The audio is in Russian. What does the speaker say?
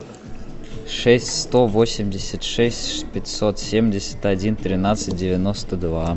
шесть сто восемьдесят шесть пятьсот семьдесят один тринадцать девяносто два